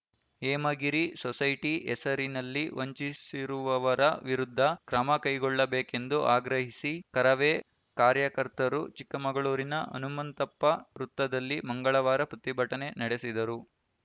Hemagiri society ಹೆಸರಿನಲ್ಲಿ ವಂಚಿಸಿರುವವರ ವಿರುದ್ಧ ಕ್ರಮ ಕೈಗೊಳ್ಳಬೇಕೆಂದು ಆಗ್ರಹಿಸಿ ಕರವೇ ಕಾರ್ಯಕರ್ತರು ಚಿಕ್ಕಮಗಳೂರಿನ ಹನುಮಂತಪ್ಪ ವೃತ್ತದಲ್ಲಿ ಮಂಗಳವಾರ ಪ್ರತಿಭಟನೆ ನಡೆಸಿದರು